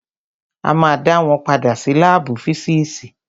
A ma dá wọn padà sí lábù físìsì.